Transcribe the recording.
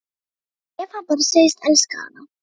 Ef hann bara segðist elska hana: